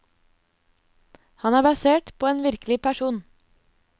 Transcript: Han er basert på en virkelig person.